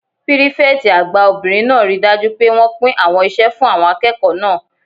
Pírífẹ̀tì àgbà obìnrin náà ríi dájú pé wọ́n pín àwọn iṣẹ́ fún àwọn akẹ́kọ̀ọ́ náà